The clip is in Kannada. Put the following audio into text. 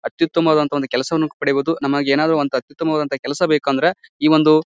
ಅತ್ಯುತ್ತಮವಾದಅಂತಹ ಒಂದು ಕೆಲಸವನ್ನು ಪಡಿಯಬಹುದು .ನಮಗೆ ಏನಾದ್ರು ಅತ್ಯುತ್ತಮವಾದ ಕೆಲಸ ಬೇಕು ಅಂದ್ರೆ ಈ ಒಂದು--